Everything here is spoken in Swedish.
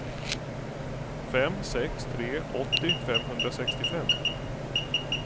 fem sex tre tre åttio femhundrasextiofem